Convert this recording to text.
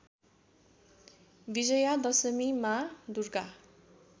विजया दशमीमा दुर्गा